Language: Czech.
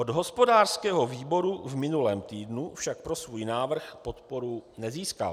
Od hospodářského výboru v minulém týdnu však pro svůj návrh podporu nezískal.